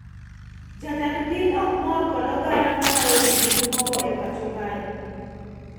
Jatend piny ok mor kod oganda mamayo jii gik moko e pacho kae